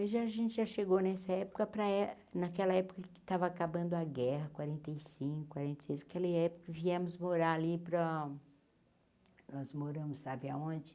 A gente já chegou nessa época, para é naquela época que estava acabando a guerra, quarenta e cinco, quarenta e seis, aquela época que viemos morar ali para... Nós moramos, sabe aonde?